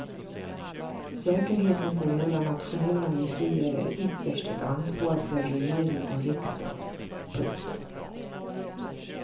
Säkerheten på våra nationella museer är ytterst ett ansvar för regering och riksdag. punkt